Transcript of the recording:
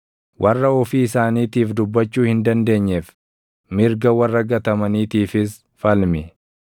“Warra ofii isaaniitiif dubbachuu hin dandeenyeef, mirga warra gatamaniitiifis falmi.